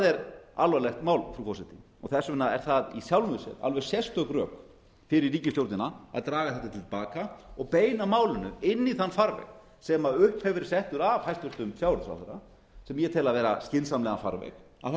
er alvarlegt mál frú forseti þess vegna er það í sjálfu sér alveg sérstök rök fyrir ríkisstjórnina að draga þetta til baka og beina málinu inn í þann farveg sem upp hefur verið settur af hæstvirtum sjávarútvegsráðherra sem ég tel vera skynsamlegan farveg að fara